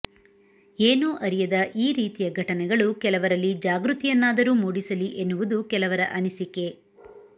ಏನೂ ಅರಿಯದ ಈ ರೀತಿಯ ಘಟನೆಗಳು ಕೆಲವರಲ್ಲಿ ಜಾಗೃತಿಯನ್ನಾದರೂ ಮೂಡಿಸಲಿ ಎನ್ನುವುದು ಕೆಲವರ ಅನಿಸಿಕೆ